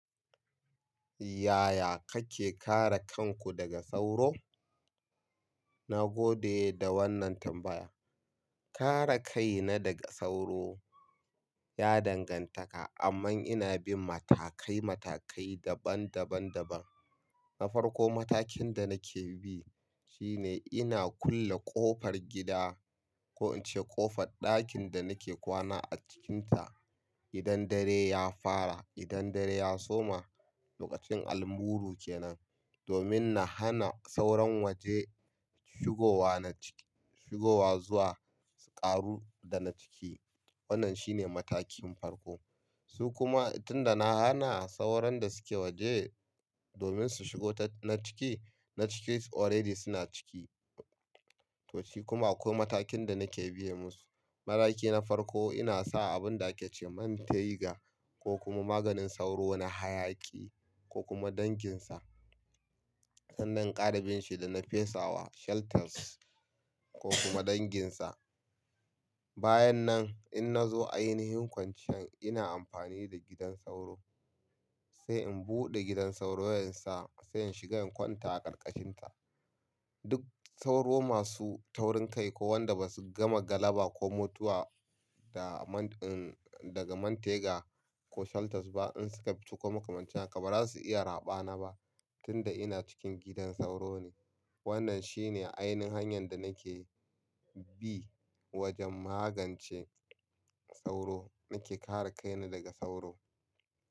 Yaya kake kare kanku daga sauro? Na gode da wannan tambaya. Kare kaina daga sauro ya danganta, amma ina bin matakai, matakai daban-daban-daban. Na farko matakin da nake bi shine ina kulle ƙofar gida ko in ce ƙofar ɗakin da nake kwana a cikinta. Idan dare ya fara, idan dare ya soma, lokacin almuru kenan, domin na hana sauran waje shigowa na ciki, shigowa zuwa ƙaru da na ciki. Wannan shine matakin farko. Su kuma tun da na hana sauran da suke waje domin su shigo ta na ciki, na ciki already suna ciki. To shi kuma akwai matakin da nake biya musu. Maraki na farko ina sa abinda ake ce mantega ko kuma maganin sauro na hayaƙi ko kuma danginsa. Sannan ƙara bin shi da nafesawa shelters ko kuma danginsa. Bayan nan in na zo a yiinin kwancan ina amfani da gidan sauro sai in buɗe gidan sauro yansa sai in shiga in kwanta a ƙarƙashinta. Duk sauro masu taurin kai ko wanda basu gama galaba ko mutuwa da man, uh daga mantega ko shelters ba in suka ciko makamancin haka baza su iya raɓa na ba tunda ina cikin gidan sauro ne. Wannan shine ainihin hanyan da nake bi wajen magance sauro. Nake kare kaina daga sauro.